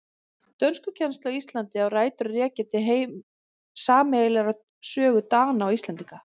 Dönskukennsla á Íslandi á rætur að rekja til sameiginlegrar sögu Dana og Íslendinga.